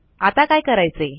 आता काय कारायचे160